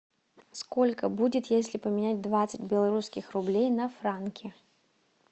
сколько будет если поменять двадцать белорусских рублей на франки